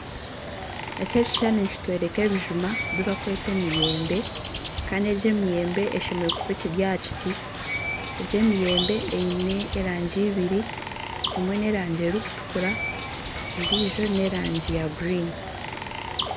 Ekishushani nikitworeka ebijuma ebi barikweta emiyembe kandi egi emiyembe eshemereire kuba ekiri aha kiti egi emiyembe eine erangi ibiri emwe n'erangi erikutukura endiijo n'erangi ya kinyaatsi.